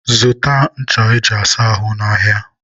zụta ncha e ji asa ahụ n'ahịa.